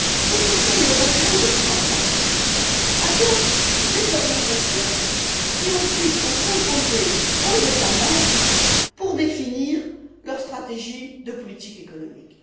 Le Conseil européen de printemps adopte les orientations qui, ensuite, vont s'imposer aux États membres pour définir leur stratégie de politique économique.